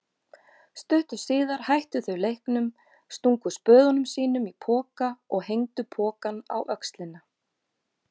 Stuttu síðar hættu þau leiknum, stungu spöðum sínum í poka og hengdu pokann á öxlina.